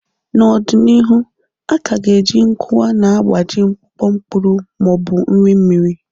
N'ọdịnihu, a ka ga-eji nkuwa na-agbaji mkpụkọ mkpụrụ ma ọ bụ nri mmiri.